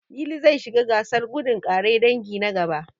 Lili zai shiga gasar gudun ƙare dangi, na gaba.